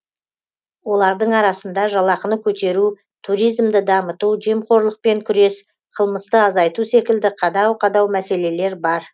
олардың арасында жалақыны көтеру туризмді дамыту жемқорлықпен күрес қылмысты азайту секілді қадау қадау мәселелер бар